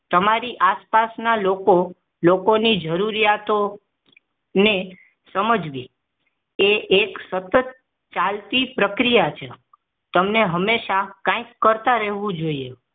તમારી આસપાસના લોકો લોકોની જરૂરિયાતો ને સમજવી એ એક સતત ચાલતી પ્રક્રિયા છે તમે હંમેશા કંઈક કરતા રહેવું જોઈએ